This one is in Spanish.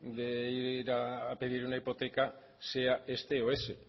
de ir a pedir una hipoteca sea este o ese